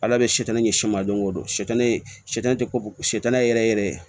Ala bɛ sɛtanin kɛ siman don o don sɛgɛn tɛ ko sa tana ye yɛrɛ yɛrɛ